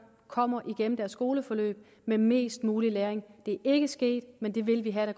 kommer igennem deres skoleforløb med mest mulig læring det er ikke sket men vi vil have at